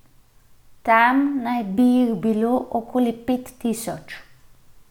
Tam naj bi jih bilo okoli pet tisoč.